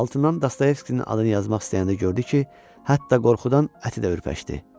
Altından Dostoyevskinin adını yazmaq istəyəndə gördü ki, hətta qorxudan əti də ürpəşdi.